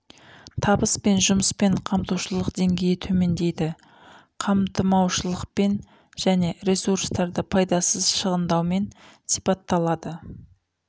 табыс пен жұмыспен қамтылушылық деңгейі төмендейді қамтымаушылықпен және ресурстарды пайдасыз шығындаумен сипатталады